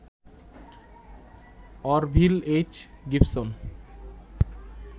Orville H. Gibson